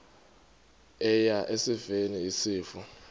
eya esifeni isifo